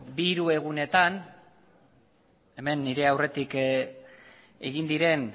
bi hiru egunetan hemen nire aurretik egin diren